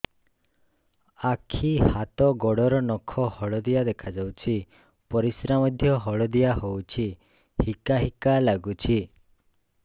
ଆଖି ହାତ ଗୋଡ଼ର ନଖ ହଳଦିଆ ଦେଖା ଯାଉଛି ପରିସ୍ରା ମଧ୍ୟ ହଳଦିଆ ହଉଛି ହିକା ହିକା ଲାଗୁଛି